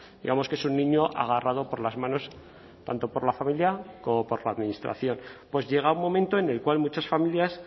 digamos que es un niño agarrado por las manos tanto por la familia como por la administración pues llega un momento en el cual muchas familias